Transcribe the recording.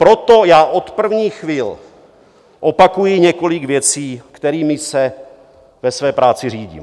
Proto já od prvních chvil opakuji několik věcí, kterými se ve své práci řídím.